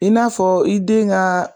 I n'a fɔ i den ka